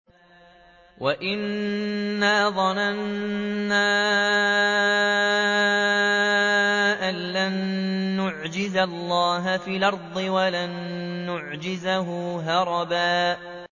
وَأَنَّا ظَنَنَّا أَن لَّن نُّعْجِزَ اللَّهَ فِي الْأَرْضِ وَلَن نُّعْجِزَهُ هَرَبًا